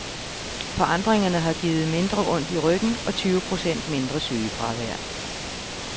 Forandringerne har givet mindre ondt i ryggen og tyve procent mindre sygefravær.